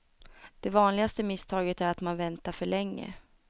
Det vanligaste misstaget är att man väntar för länge.